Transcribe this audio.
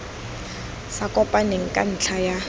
sa kopaneng ka ntlha ya